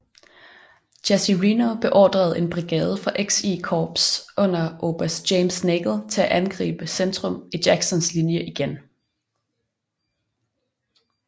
Jesse Reno beordrede en brigade fra XI korps under oberst James Nagle til at angribe centrum i Jacksons linje igen